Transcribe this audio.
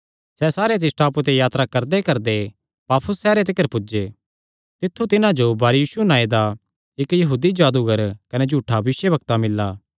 सैह़ सारे तिस टापूये ते यात्रा करदेकरदे पाफुस सैहरे तिकर पुज्जे तित्थु तिन्हां जो बारयीशु नांऐ दा इक्क यहूदी जादूगर कने झूठा भविष्यवक्ता मिल्ला